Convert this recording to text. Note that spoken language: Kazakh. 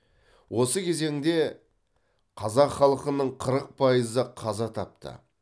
осы кезеңде қазақ халқының қырық пайызы қаза тапты